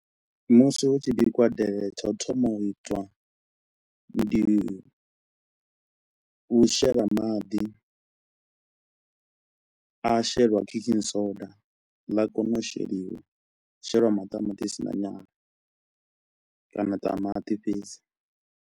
Musi hu tshi bikiwa delele tsha u thoma u itwa ndi u shela maḓi, a shelwa cooking soda ḽa kona u sheliwa, sheliwa maṱamaṱisi na nyala kana ṱamaṱi fhedzi.